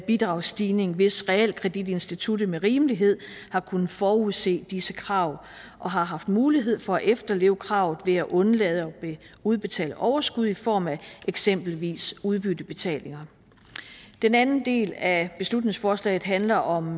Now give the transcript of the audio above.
bidragsstigning hvis realkreditinstituttet med rimelighed har kunnet forudse disse krav og har haft mulighed for at efterleve kravet ved at undlade at udbetale overskud i form af eksempelvis udbyttebetalinger den anden del af beslutningsforslaget handler om